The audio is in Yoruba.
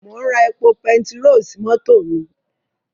Mò ń ra epo pertiró sí mọ́tò mi.